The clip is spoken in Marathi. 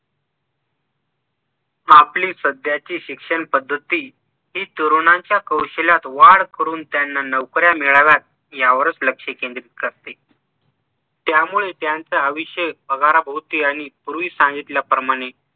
आपली सध्याची शिक्षण पद्धती हि तरूणांच्या कौशल्यात वाढ करून त्यांना नौकऱ्या मिळाव्यात यावरच लक्ष केंद्रित करते त्यामुळे त्यांचा विषय पगाराभोवती आणि पूर्वी सांगितल्याप्रमाणे